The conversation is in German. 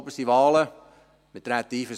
Die Wahlen finden am 20. Oktober statt.